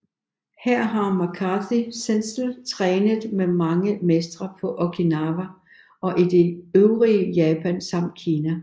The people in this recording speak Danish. Her har McCarthy Sensei trænet med mange mestre på Okinawa og i det øvrige Japan samt Kina